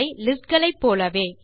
list களுடையதை போலவே